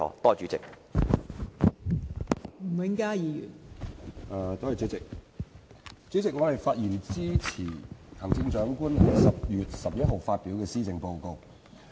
代理主席，我發言支持行政長官於10月11日發表的施政報告。